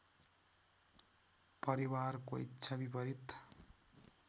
परिवारको इच्छा विपरीत